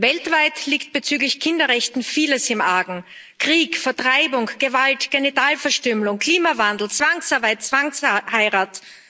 Weltweit liegt bezüglich Kinderrechten vieles im Argen Krieg, Vertreibung, Gewalt, Genitalverstümmelung, Klimawandel, Zwangsarbeit, Zwangsheirat.